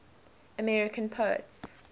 american poets